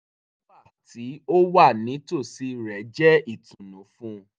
wíwà tí ó wà nítòsí rẹ̀ jẹ́ ìtùnú fún un